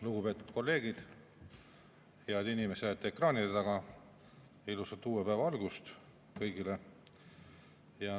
Lugupeetud kolleegid ja head inimesed ekraanide taga, ilusat uue päeva algust kõigile!